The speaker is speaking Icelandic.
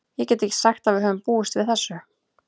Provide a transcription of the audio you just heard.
Ég get ekki sagt að við höfum búist við þessu.